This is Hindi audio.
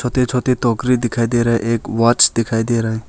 छोटे छोटे टोकरी दिखाई दे रहा है एक वॉच दिखाई दे रहा है।